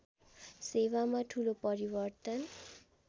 सेवामा ठूलो परिवर्तन